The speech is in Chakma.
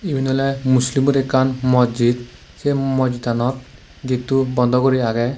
iben oley muslim or ekkan mojjid sey mojjid anot getto bondo gori agey.